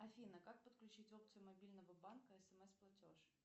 афина как подключить опцию мобильного банка смс платеж